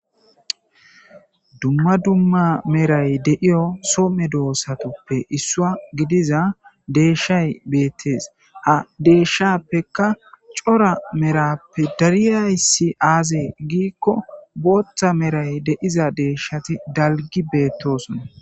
Dumma dumma meray deiyo somme doossatoppe issua gidiza deeshshay beettees a deeshshappeka cora merappe dariyayssi aazee giikko booththa meray deiza deeshshati dalgi beettosona.